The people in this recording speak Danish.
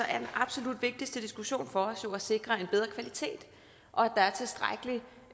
er den absolut vigtigste diskussion for os jo at sikre en bedre kvalitet og